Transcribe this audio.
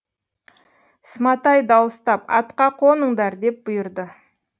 сматай дауыстап атқа қоныңдар деп бұйырды